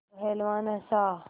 पहलवान हँसा